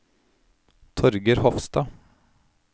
Torger Hofstad